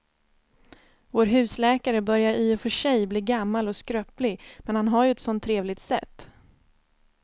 Vår husläkare börjar i och för sig bli gammal och skröplig, men han har ju ett sådant trevligt sätt!